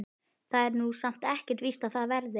Það er nú samt ekkert víst að það verði.